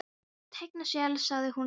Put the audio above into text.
Sóla teikna sel, sagði hún lágt.